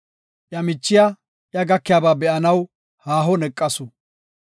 Iya michiya iya gakiyaba be7anaw haahon eqasu.